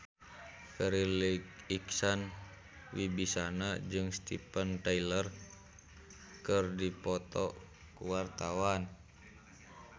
Farri Icksan Wibisana jeung Steven Tyler keur dipoto ku wartawan